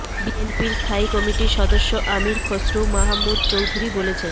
বিএনপির স্থায়ী কমিটির সদস্য আমীর খসরু মাহমুদ চৌধুরী বলেছেন